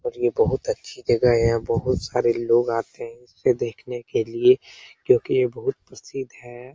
और यह बहुत अच्छी जगह है और यहाँ बहुत सारे लोग आते हैं इसे देखने के लिए क्योकि यह बहुत प्रसिद्ध है ।